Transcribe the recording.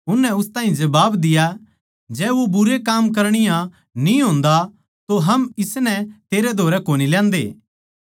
उननै उस ताहीं जबाब दिया जै वो भुण्डे काम करणीया न्ही होंदा तो हम उसनै तेरै धोरै कोनी ल्यान्दे